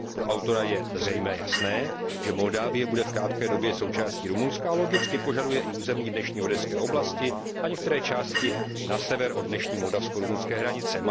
Pro autora je zřejmě jasné, že Moldávie bude v krátké době součástí Rumunska, a logicky požaduje i území dnešní oděské oblasti a některé části na sever od dnešní moldavsko rumunské hranice.